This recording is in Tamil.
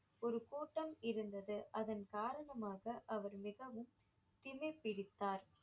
ஒரு கூட்டம் இருந்தது அதன் காரணமாக அவர் மிகவும் திமிர் பிடித்தார்